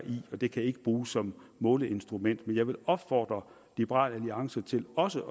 i og det kan ikke bruges som måleinstrument jeg vil opfordre liberal alliance til også